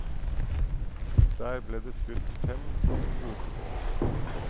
Der ble det skutt fem av en kvote på åtte.